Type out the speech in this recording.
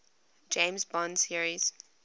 james bond series